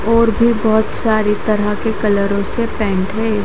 और भी बहोत सारे तरह के कलरो के पेंट है।